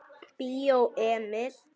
Bíó Emil.